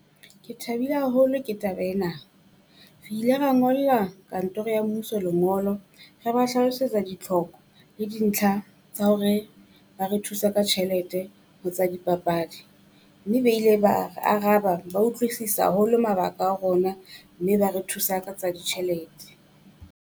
Ke thabile haholo ke taba ena. Re ile ra ngolla kantoro ya mmuso lengolo re ba hlalosetsa ditlhoko le dintlha tsa hore ba re thusa ka tjhelete ho tsa dipapadi mme ba ile ba re araba. Ba utlwisisa haholo mabaka a rona mme ba re thusa ka tsa ditjhelete.